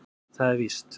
Það er víst.